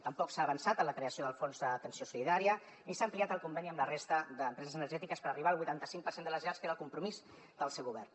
tampoc s’ha avançat en la creació del fons d’atenció solidària ni s’ha ampliat el conveni amb la resta d’empreses energètiques per arribar al vuitanta cinc per cent de les llars que era el compromís del seu govern